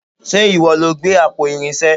Ṣe ìwọ lo gbé àpò Irinṣé?